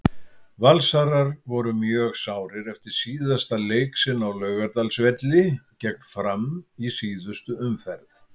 Valsarar voru mjög sárir eftir síðasta leik sinn á Laugardalsvelli gegn Fram í síðustu umferð.